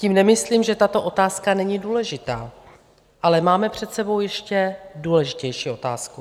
Tím nemyslím, že tato otázka není důležitá, ale máme před sebou ještě důležitější otázku.